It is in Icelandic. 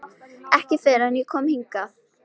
Ekki fyrr en ég kom hingað.